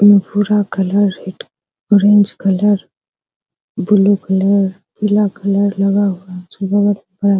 उ भूरा कलर हिट ऑरेंज कलर ब्लू कलर पीला कलर लगा हुआ अच्छा